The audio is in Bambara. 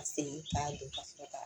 Segin k'a don fo k'a